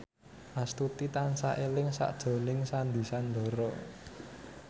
Astuti tansah eling sakjroning Sandy Sandoro